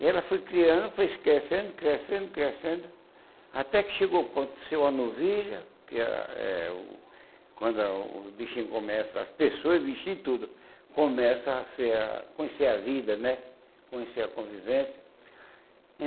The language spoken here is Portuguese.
E ela foi criando, foi se crescendo, crescendo, crescendo, até que chegou o ponto de ser uma novilha, que é a é o quando o bichinho começa, as pessoas, bichinho e tudo, começa a ser a conhecer a vida né, conhecer a convivência.